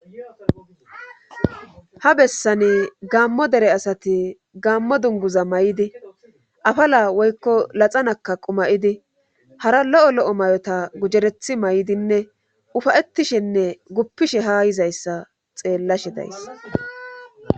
ha bessani gammo dere asati gaammo dunguza may7idi afala woykko laxanakka qumayidi hara lo7o lo7o may7ota gujerethi may7idinne ufayettishenne guppishe ha yizayssa xeellashe days